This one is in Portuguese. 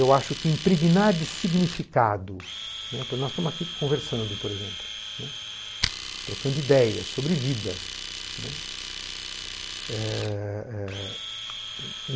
Eu acho que impregnar de significado, né... Nós estamos aqui conversando, por exemplo, né, trocando ideias sobre vida, né. Eh eh